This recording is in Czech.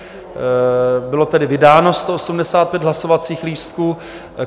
Bylo tedy vydáno 185 hlasovacích lístků.